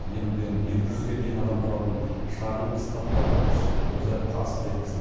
елуден екі жүзге дейін адам тұратын шағын қыстақтарға тіршілік көзі тасып жеткізіледі